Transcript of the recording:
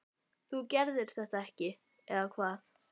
þú gerðir þetta ekki, eða hvað?